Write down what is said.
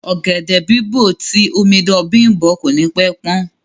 Ọ̀gẹ̀dẹ̀ bìbó jẹ ti omidan Bimbo ko ni pẹ pan.